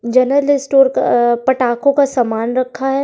General store का पटाखों का सामना रखा है।